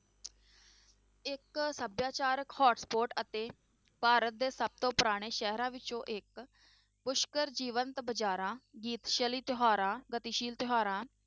ਇੱਕ ਸਭਿਆਚਾਰਕ hotspot ਅਤੇ ਭਾਰਤ ਦੇ ਸਭ ਤੋਂ ਪੁਰਾਣੇ ਸ਼ਹਿਰਾਂ ਵਿੱਚੋਂ ਇੱਕ ਪੁਸ਼ਕਰ ਜੀਵੰਤ ਬਾਜ਼ਾਰਾਂ ਗੀਤਸ਼ਾਲੀ ਤਿਉਹਾਰਾਂ, ਗਤੀਸ਼ੀਲ ਤਿਉਹਾਰਾਂ